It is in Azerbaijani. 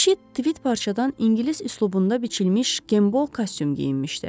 Kişi tvit parçadan ingilis üslubunda biçilmiş Gembol kostyum geyinmişdi.